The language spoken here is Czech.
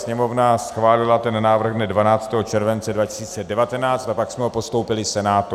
Sněmovna schválila ten návrh dne 12. července 2019 a pak jsme ho postoupili Senátu.